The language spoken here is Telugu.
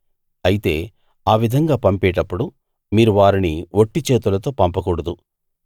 అయితే ఆ విధంగా పంపేటప్పుడు మీరు వారిని వట్టి చేతులతో పంపకూడదు